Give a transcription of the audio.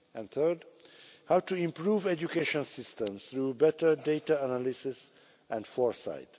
and, third, how to improve education systems through better data analysis and foresight.